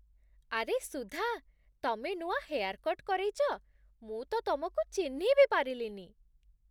ଆରେ ସୁଧା, ତମେ ନୂଆ ହେୟାର୍ କଟ୍ କରେଇଚ! ମୁଁ ତ ତମକୁ ଚିହ୍ନି ବି ପାରିଲିନି!